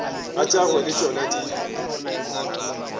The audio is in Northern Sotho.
tša gagwe le tšona di